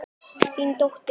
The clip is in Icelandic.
Þín dóttir.